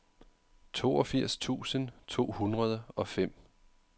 toogfirs tusind to hundrede og fem